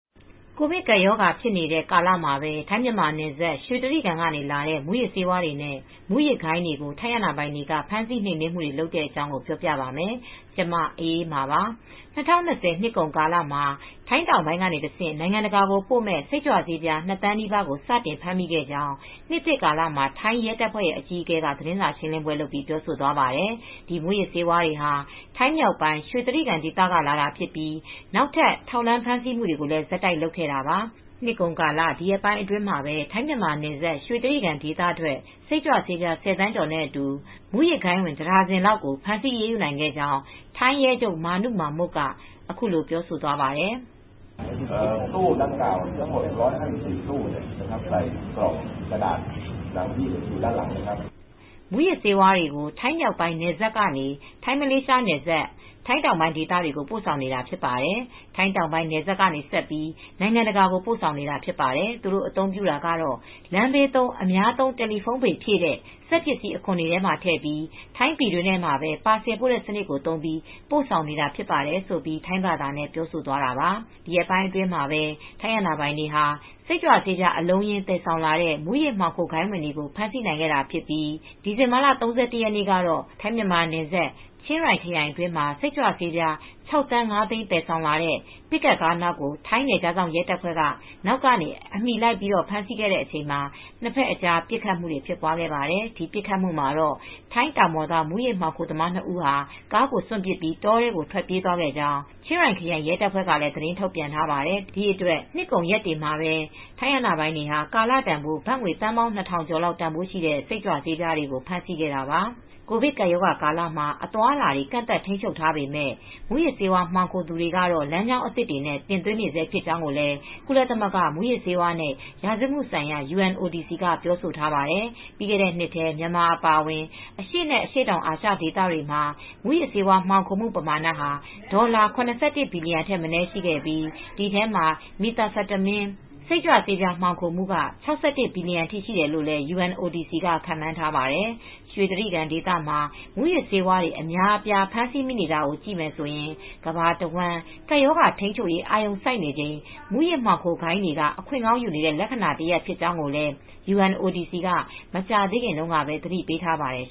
ကိုဗစ်ကပ်ရောဂါဖြစ်နေတဲ့ ကာလမှာပဲ ထိုင်း-မြန်မာနယ်စပ် ရွှေတြိဂံကလာတဲ့ မူးယစ်ဆေးဝါးတွေနဲ့ မူးယစ်ဂိုဏ်းတွေကို ထိုင်းအာဏာပိုင်တွေက ဖမ်းဆီးနှိမ်နင်းမှုတွေ လုပ်နေပါတယ်။ အပြည့်အစုံကို ထိုင်းအခြေစိုက် ဗွီအိုအေမြန်မာပိုင်း သတင်းထောက် မအေးအေးမာ တင်ပြပေးထားပါတယ်။ ၂၀၂၀ နှစ်ကုန်ကာလမှာ ထိုင်းတောင်ပိုင်းကတဆင့် နိုင်ငံတကာကိုပို့မယ့် စိတ်ကြွဆေးပြား ၂ သန်းနီးပါးကို စတင်ဖမ်းမိခဲ့ကြောင်း နှစ်သစ်ကာလမှာ ထိုင်းရဲတပ်ဖွဲ့အကြီးအကဲက သတင်းစာရှင်းလင်းပွဲမှာ ပြောဆိုသွားပါတယ်။ ဒီမူးယစ်ဆေးဝါးတွေဟာ ထိုင်းမြောက်ပိုင်း ရွှေတြိဂံဒေသက လာတာဖြစ်ပြီး နောက်ထပ် ထောက်လှမ်းဖမ်းဆီးမှုတွေကိုလည်း ဆက်တိုက်လုပ်ခဲ့တာပါ။ နှစ်ကုန်ကာလ ဒီရက်ပိုင်းအတွင်းမှာ ထိုင်း-မြန်မာနယ်စပ် ရွှေတြိဂံဒေသထွက် စိတ်ကြွဆေးပြား ၁၀ သန်းကျော်နဲ့အတူ မူးယစ်ဂိုဏ်းဝင် တဒါဇင်လောက်ကို ဖမ်းဆီးအရေးယူနိုင်ခဲ့ကြောင်း ထိုင်းရဲချုပ် Major General Manu Mek Mok က အခုလိုပြောသွားပါတယ်။ “မူးယစ်ဆေးဝါးတွေကို ထိုင်းမြောက်ပိုင်းနယ်စပ်ကနေ ထိုင်း-မလေးရှားနယ်စပ် ထိုင်းတောင်ပိုင်းဒေသတွေကို ပို့ဆောင်နေတာ ဖြစ်ပါတယ်။ ထိုင်းတောင်ပိုင်းနယ်စပ်ကနေ ဆက်ပြီး နိုင်ငံတကာကို ပို့ဆောင်နေတာ ဖြစ်ပါတယ်။ သူတို့အသုံးပြုတာက လမ်းဘေးသုံး အများသုံး တယ်လီဖုန်းဘေလ်ဖြည့်တဲ့ စက်ပစ္စည်းအခွံတွေထဲမှာ ထည့်ပြီး ထိုင်းပြည်တွင်းထဲမှာပဲ ပါဆယ်ပို့တဲ့စနစ်ကို သုံးပြီး ပို့ဆောင်နေတာ ဖြစ်ပါတယ်။” လို့ ထိုင်းဘာသာနဲ့ ပြောဆိုသွားတာပါ။ ဒီရက်ပိုင်းအတွင်းမှာပဲ ထိုင်းအာဏာပိုင်တွေဟာ စိတ်ကြွဆေး အလုံးအရင်း သယ်ဆောင်လာတဲ့ မူးယစ်မှောင်ခိုဂိုဏ်းဝင်တွေကို ဖမ်းဆီးနိုင်ခဲ့တာဖြစ်ပြီး ဒီဇင်ဘာလ ၃၁ ရက်နေ့ကတော့ ထိုင်း-မြန်မာနယ်စပ် ချင်းရိုင်ခရိုင်အတွင်းမှာ စိတ်ကြွဆေးပြား ၆,၅၀၀,၀၀၀ သယ်ဆောက်လာတဲ့ ပစ်ကပ်ကားနောက်ကို ထိုင်းနယ်ခြားစောင့် ရဲတပ်ဖွဲ့က နောက်ကနေ အမီလိုက် ဖမ်းဆီးတဲ့အချိန် နှစ်ဖက်အကြား ပစ်ခတ်မှုတွေပါ ဖြစ်ပွားခဲ့ပါတယ်။ ဒီပစ်ခတ်မှုမှာတော့ ထိုင်းတောင်ပေါ်သား မူးယစ်မှောင်ခိုသမား ၂ ဦးဟာ ကားကိုစွန့်ပစ်ပြီး တောတွင်း ထွက်ပြေးသွားခဲ့ကြကြောင်း ချင်းရိုင်ခရိုင် ရဲတပ်ဖွဲ့ကလည်း သတင်းထုတ်ပြန်ထားပါတယ်။ ဒီအတွက် နှစ်ကုန်ရက်တွေမှာပဲ ထိုင်းအာဏာပိုင်တွေဟာ ကာလတန်ဖိုး ဘတ်ငွေသန်းပေါင်း ၂,၀၀၀ ကျော်လောက် တန်ဖိုးရှိတဲ့ စိတ်ကြွဆေးတွေကို ဖမ်းဆီးခဲ့တာပါ။ ကိုဗစ်ကပ်ရောဂါကာလမှာ အသွားအလာတွေ ကန့်သတ်ထိန်းချုပ်ထားပေမယ့် မူးယစ်ဆေးဝါး မှောင်ခိုသူတွေကတော့ လမ်းကြောင်းသစ်တွေနဲ့ တင်သွင်းနေဆဲ ဖြစ်ကြောင်းလည်း ကုလသမဂ္ဂ မူးယစ်ဆေးဝါးနဲ့ ရာဇဝတ်မှုဆိုင်ရာရုံး က ပြောဆိုထားပါတယ်။ ပြီးခဲ့တဲ့နှစ်ထဲ မြန်မာနိုင်ငံ အပါအဝင် အရှေ့နဲ့ အရှေ့တောင်အာရှဒေသမှာ မူးယစ်ဆေးဝါး မှောင်ခိုမှုပမာဏဟာ ဒေါ်လာ ၇၁ ဘီလီယံထက်မနည်း ရှိခဲ့ပြီး ဒီအထဲမှာ Methamphetamine စိတ်ကြွဆေး မှောင်ခိုမှုက ၆၁ ဘီလီယံအထိ ရှိတယ်လို့လည်း UNODC က ခန့်မှန်းထားပါတယ်။ ရွှေတြိဂံဒေသမှာ မူးယစ်ဆေးတွေ အများအပြား ဖမ်းဆီးမိနေတာကိုကြည့်ရင် ကမ္ဘာတဝန်း ကပ်ရောဂါထိန်းချုပ်ရေး အာရုံစိုက်နေချိန် မူးယစ်ဆေးမှောင်ခိုဂိုဏ်းတွေက အခွင့်ကောင်းယူနေတဲ့ လက္ခဏာတရပ် ဖြစ်ကြောင်းလည်း UNODC က မကြာသေးခင်တုန်းကပဲ သတိပေးထားပါတယ်